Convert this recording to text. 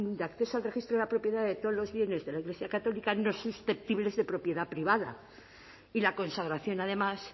de acceso al registro de la propiedad de todos los bienes de la iglesia católica no susceptibles de propiedad privada y la consagración además